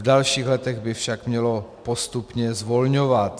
V dalších letech by však mělo postupně zvolňovat.